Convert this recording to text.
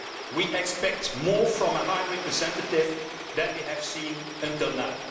We expect more from a High Representative than we have seen until now.